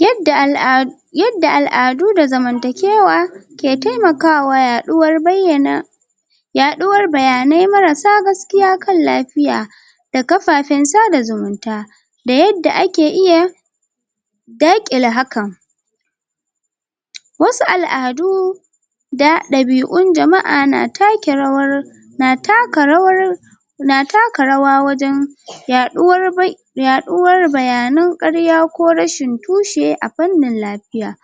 Yadda al'a yadda al'adu da zamantakewa ke taimakawa yaɗuwar bayyana yaɗuwar bayanai marasa gaskiya kan lafiya da kafafen sada zumunta da yadda ake iya daƙile hakan wasu al'adu da ɗabi'un jama'a na take rawar na taka rawar na taka rawa wajen yaɗuwar bai? yaɗuwar bayanan ƙarya ko rashin tushe a fannin lafiya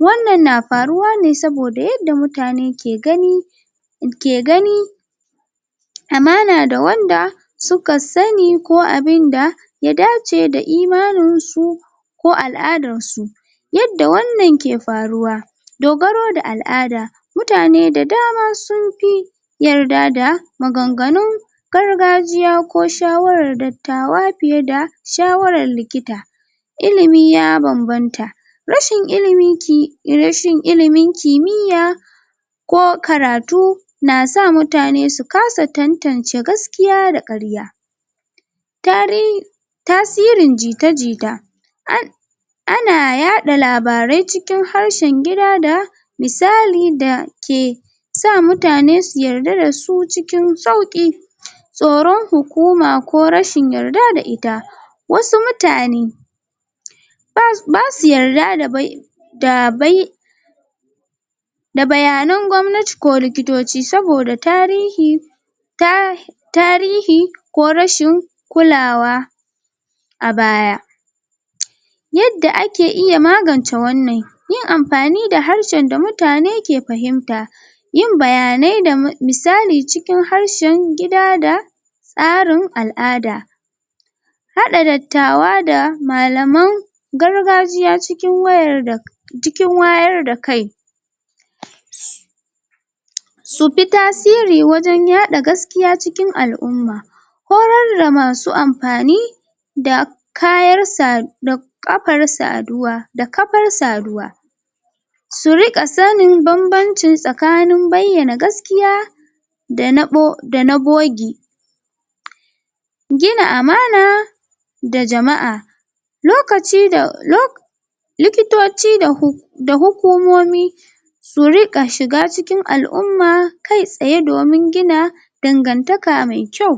wannan na faruwa ne saboda yadda mutane ke gani ke gani amana da wanda suka sani ko abin da ya dace da imaninsu ko al'adarsu yadda wannan ke faruwa dogaro da al'ada mutane da dama sun fi yarda da maganganun gargajiya ko shawarar da tawa fiye da shawarar likita ilimi ya bambanta rashin ilimin ki... rashin ilimin kimiyya ko karatu na sa mutane su kasa tantance gaskiya da ƙarya? tasirin jita-jita? ana yaɗa labarai cikin harshen gida da misali dake sa mutane su yarda da su cikin sauƙi tsoron hukuma ko rashin yarda da ita wasu mutane ba um ba su yarda da? da bayanan gwamnati ko likitoci saboda tarihi? tarihi ko rashin kulawa a baya yadda ake iya magance wannan yin amfani da harshen da mutane ke fahimta yin bayanai da misali cikin harshen gida da tsarin al'ada haɗa dattawa da malaman gargajiya cikin wayar da cikin wayar da kai su fi tasiri wajen yaɗa gaskiya cikin al'umma horar da masu amfani da kayarsa da ƙafar saduwa da kafar saduwa su riƙa sanin bambancin tsakanin bayyana gaskiya da na bogi gina amana da jama'a lokaci da um likitoci da hu... da hukomomi su riƙa shiga cikin al'umma kaitsaye domin gina dangantaka mai kyau